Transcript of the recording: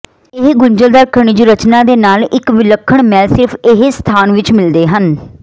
ਇੱਕ ਗੁੰਝਲਦਾਰ ਖਣਿਜ ਰਚਨਾ ਦੇ ਨਾਲ ਇੱਕ ਵਿਲੱਖਣ ਮੈਲ ਸਿਰਫ ਇਹ ਸਥਾਨ ਵਿਚ ਮਿਲਦੇ ਹਨ